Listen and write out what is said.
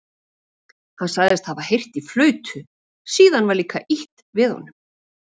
Hann sagðist hafa heyrt í flautu, síðan var líka ýtt við honum.